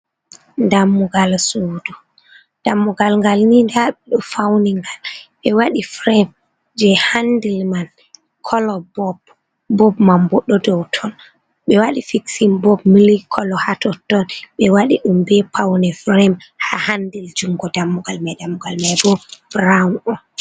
"Dummugal suudu"dammugal ngal ni nda ɓeɗo fauningal al ɓe waɗi firem je handil man kolo bob bob man bo dou ton ɓe waɗi fiksin bob mili kolo ha totton ɓe waɗi ɗum ɓe paune firem ha handil jungo dammugal mai dammugal mai bo ɓurawun on.